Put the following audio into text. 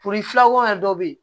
Purufilako yɛrɛ dɔ bɛ yen